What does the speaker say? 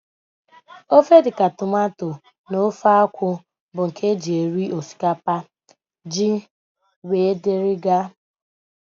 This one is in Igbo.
Ofe dịka tomato na ofe akwụ bụ nke e ji eri osikapa, ji wdg.